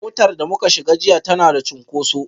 Motar da muka shiga jiya tana da cunkoso